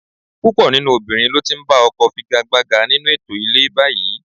Púpọ̀ nínú obìnrin ló ti ń ba ọkọ figagbága nínú ètò ilé báyìí